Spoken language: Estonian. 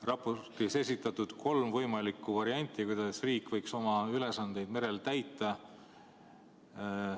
Raportis on esitatud kolm võimalikku varianti, kuidas riik võiks oma ülesandeid merel täita.